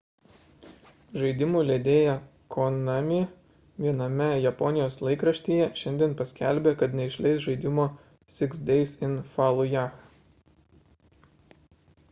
žaidimų leidėja konami viename japonijos laikraštyje šiandien paskelbė kad neišleis žaidimo six days in fallujah